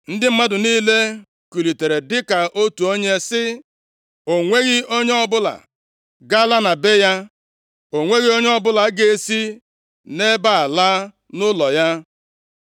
Ndị mmadụ niile kulitere dịka otu onye, sị, “O nweghị onye ọbụla ga-ala na be ya. O nweghị onye ọbụla ga-esi nʼebe a laa nʼụlọ ya.